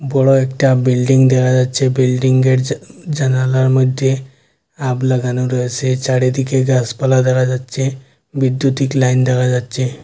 বড়ো একটা বিল্ডিং দেখা যাচ্ছে বিল্ডিংয়ের জা-জানালার মইধ্যে লাগানো রয়েছে চারিদিকে গাসপালা দেখা যাচ্ছে বিদ্যুতিক লাইন দেখা যাচ্ছে।